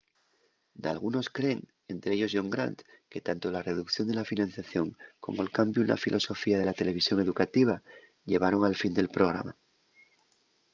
dalgunos creen ente ellos john grant que tanto la reducción de la financiación como'l cambiu na filosofía de la televisión educativa llevaron al final del programa